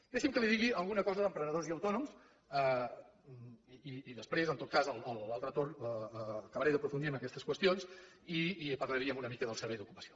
deixi’m que li digui alguna cosa d’emprenedors i autònoms i després en tot cas a l’altre torn acabaré d’aprofundir en aquestes qüestions i parlaríem una mica del servei d’ocupació